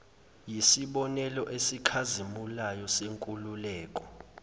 yisibonelo esikhazimulayo senkululeko